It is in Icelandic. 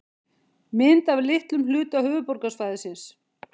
Mynd af litlum hluta höfuðborgarsvæðisins.